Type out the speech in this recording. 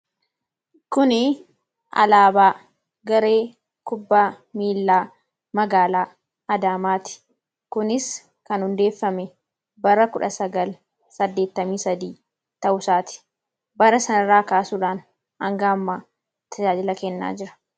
kuni alaabaa garee kubbaa miilaa magaalaa adaamaati kunis kan hundeeffame bara 1983 ta'usaati bara sanarraa kaasuudhaan anga'ammaa tajaajila kennaa jira